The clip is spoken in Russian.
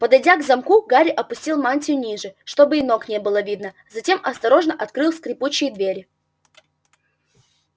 подойдя к замку гарри опустил мантию ниже чтобы и ног не было видно затем осторожно открыл скрипучие двери